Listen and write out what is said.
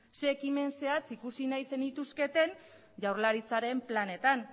zein ekimen zehatz ikusi nahi zenituzketen jaurlaritzaren planetan